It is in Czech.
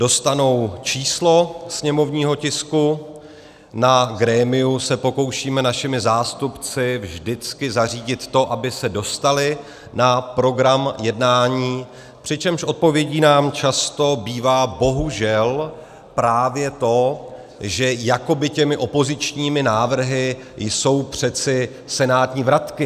Dostanou číslo sněmovního tisku, na grémiu se pokoušíme našimi zástupci vždycky zařídit to, aby se dostaly na program jednání, přičemž odpovědí nám často bývá - bohužel - právě to, že jakoby těmi opozičními návrhy jsou přece senátní vratky.